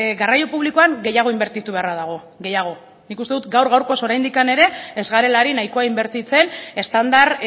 garraio publikoan gehiago inbertitu beharra dago gehiago nik uste dut gaur gaurkoz oraindik ere ez garela ari nahikoa inbertitzen estandar